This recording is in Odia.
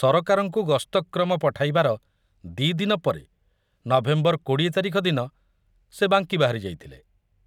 ସରକାରଙ୍କୁ ଗସ୍ତକ୍ରମ ପଠାଇବାର ଦି ଦିନ ପରେ ନଭେମ୍ବର କୋଡି଼ଏ ତାରିଖ ଦିନ ସେ ବାଙ୍କୀ ବାହାରି ଯାଇଥିଲେ।